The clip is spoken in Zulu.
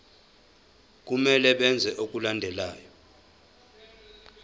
kumele benze okulandelayo